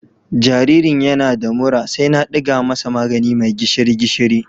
Jaririn yana da mura sai na ɗiga masa magani mai gishiri-gishiri..